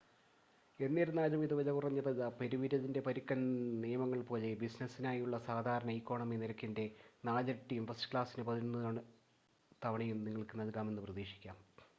എന്നിരുന്നാലും ഇത് വിലകുറഞ്ഞതല്ല പെരുവിരലിൻ്റെ പരുക്കൻ നിയമങ്ങൾ പോലെ ബിസിനസ്സിനായുള്ള സാധാരണ ഇക്കോണമി നിരക്കിൻ്റെ 4 ഇരട്ടിയും ഫസ്റ്റ് ക്ലാസിന് പതിനൊന്ന് തവണയും നിങ്ങൾക്ക് നൽകാമെന്ന് പ്രതീക്ഷിക്കാം